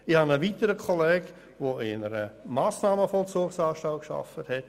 Ich habe einen weiteren Kollegen, der in einer Massnahmenvollzugsanstalt gearbeitet hat.